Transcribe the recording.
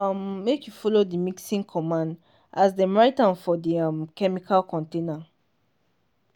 um make you follow the mixing cmmand as dem write am for the um chemicals container.